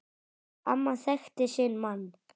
Amma þekkti sinn mann.